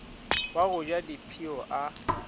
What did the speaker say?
wa go ja dipshio a